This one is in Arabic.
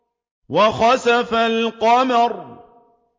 وَخَسَفَ الْقَمَرُ